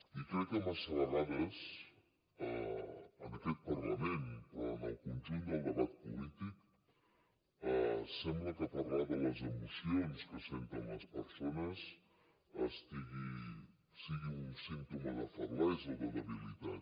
i crec que massa vegades en aquest parlament però en el conjunt del debat polític sembla que parlar de les emocions que senten les persones sigui un símptoma de feblesa o de debilitat